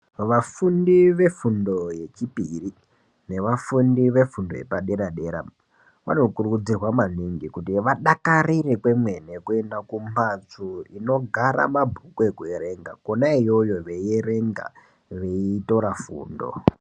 Vafundi vefundo yechipiri nevafundi vefundo yepadera dera vanokurudzirwa maningi kuti vadakarire kwemene kuenda kumbatso dzinogara mabhuku ekuerenga Kona iyoyo veierenga ,veitora fundo.